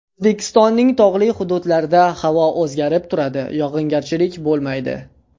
O‘zbekistonning tog‘li hududlarida havo o‘zgarib turadi, yog‘ingarchilik bo‘lmaydi.